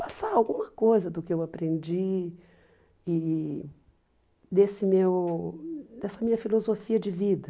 passar alguma coisa do que eu aprendi e desse meu dessa minha filosofia de vida.